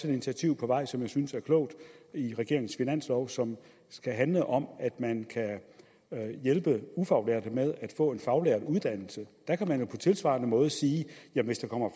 et initiativ på vej som jeg synes er klogt i regeringens finanslov som skal handle om at man kan hjælpe ufaglærte med at få en faglært uddannelse der kan man jo på tilsvarende måde sige at hvis der kommer